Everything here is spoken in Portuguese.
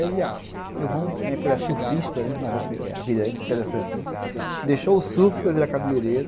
E aí o meu irmão, porque ele era surfista, né, a vida é interessante, deixou o surf para virar cabeleireiro.